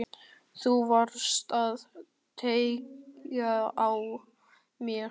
Þú varst að tékka á mér!